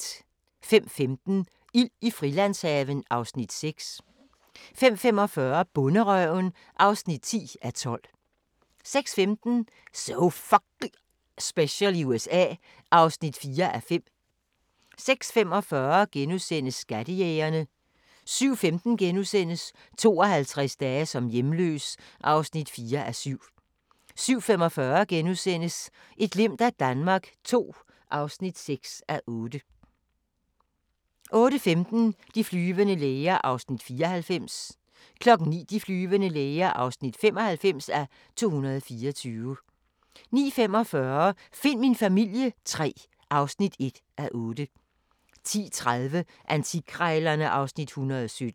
05:15: Ild i Frilandshaven (Afs. 6) 05:45: Bonderøven (10:12) 06:15: So F***ing Special i USA (4:5) 06:45: Skattejægerne * 07:15: 52 dage som hjemløs (4:7)* 07:45: Et glimt af Danmark II (6:8)* 08:15: De flyvende læger (94:224) 09:00: De flyvende læger (95:224) 09:45: Find min familie III (1:8) 10:30: Antikkrejlerne (Afs. 117)